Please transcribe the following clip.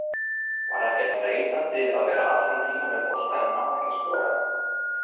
Var ekkert þreytandi að vera allan tímann með boltann en ná ekki að skora?